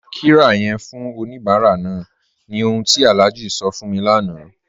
Tá qirya fún oníbàrà náà ni ọ̀hun tí Alhaji sọ fún mí láńà